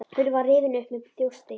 Hurðin var rifin upp með þjósti.